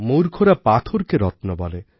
মূর্খরা পাথরকে রত্ন বলে